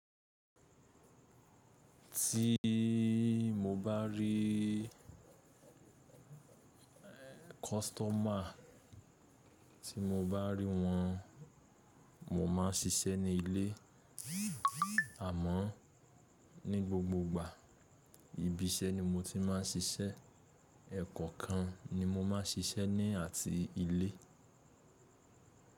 Ti mo bá rí kọ́sitọ́mà tí mo bá rí wọn, mo máa ṣiṣẹ́ ní ilé. Àmọ́ ní gbogbo ìgbà, ibi-iṣẹ́ ni mo ti máa ń ṣiṣẹ́. Ẹ̀kọ̀ kan ni mo máa ń ṣiṣẹ́ ní àti ilé.